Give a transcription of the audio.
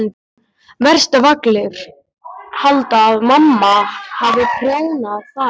Verst ef allir halda að mamma hafi prjónað þær.